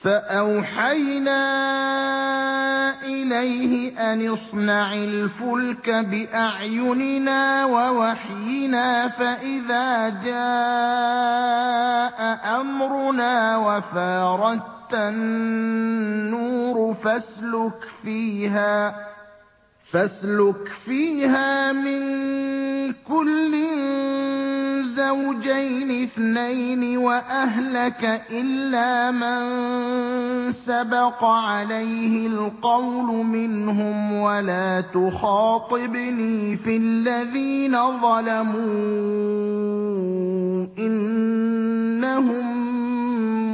فَأَوْحَيْنَا إِلَيْهِ أَنِ اصْنَعِ الْفُلْكَ بِأَعْيُنِنَا وَوَحْيِنَا فَإِذَا جَاءَ أَمْرُنَا وَفَارَ التَّنُّورُ ۙ فَاسْلُكْ فِيهَا مِن كُلٍّ زَوْجَيْنِ اثْنَيْنِ وَأَهْلَكَ إِلَّا مَن سَبَقَ عَلَيْهِ الْقَوْلُ مِنْهُمْ ۖ وَلَا تُخَاطِبْنِي فِي الَّذِينَ ظَلَمُوا ۖ إِنَّهُم